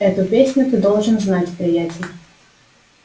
эту песню ты должен знать приятель